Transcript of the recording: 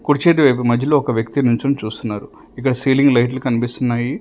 కుడి చేతి వైపు మధ్యలో ఒక వ్యక్తి నిల్చుని చూస్తున్నాడు ఇక్కడ సీలింగ్ లైట్స్ కనిపిస్తున్నాయి.